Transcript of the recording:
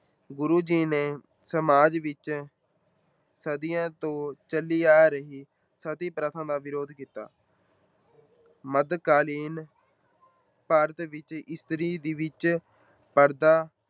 ਗੁਰੂ ਜੀ ਨੇ ਸਮਾਜ ਵਿੱਚ ਸਦੀਆਂ ਤੋਂ ਚੱਲੀ ਆ ਰਹੀ ਸਤੀ ਪ੍ਰਥਾ ਦਾ ਵਿਰੋਧ ਕੀਤਾ ਮੱਧਕਾਲੀਨ ਭਾਰਤ ਵਿੱਚ ਇਸਤਰੀ ਦੇ ਵਿੱਚ ਪਰਦਾ